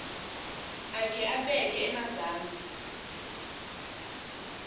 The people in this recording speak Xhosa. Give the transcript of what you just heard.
akhe abeke emazantsi